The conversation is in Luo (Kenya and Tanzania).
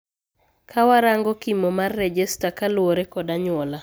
Kawarango kimo mar rejesta kaluore kod anyuola